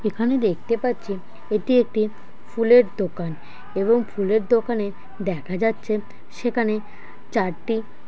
এখানে দেখতে পাচ্ছি এটি একটি ফুলের দোকান এবং ফুলের দোকানে দেখা যাচ্ছে। সেখানে চারটি